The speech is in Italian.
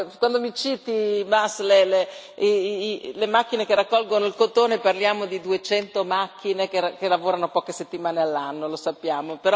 Quando mi citi, Bas, le macchine che raccolgono il cotone, parliamo di 200 macchine che lavorano poche settimane all'anno, lo sappiamo.